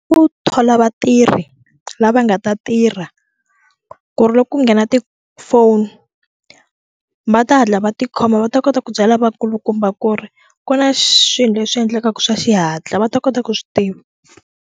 Ku thola vatirhi lava nga ta tirha ku ri loko ku nghena tifoni va ta hatla va tikhoma va ta kota ku byala vakulukumba ku ri ku na xilo leswi endlekaka swa xihatla va ta kota ku swi tiva.